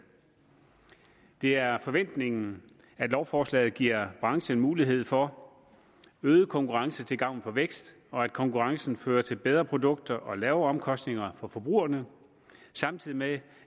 det er forventningen at lovforslaget giver branchen mulighed for øget konkurrence til gavn for vækst og at konkurrencen fører til bedre produkter og lavere omkostninger for forbrugerne samtidig med